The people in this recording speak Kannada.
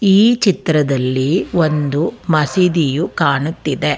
ಈ ಚಿತ್ರದಲ್ಲಿ ಒಂದು ಮಸೀದಿಯು ಕಾಣುತ್ತಿದೆ.